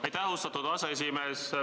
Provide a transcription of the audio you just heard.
Aitäh, austatud aseesimees!